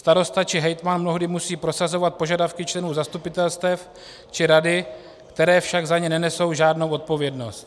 Starosta či hejtman mnohdy musí prosazovat požadavky členů zastupitelstev či rady, které však za ně nenesou žádnou odpovědnost.